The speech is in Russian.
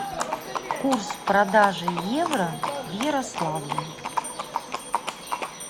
курс продажи евро в ярославле